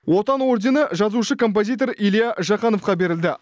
отан ордені жазушы композитор илья жақановқа берілді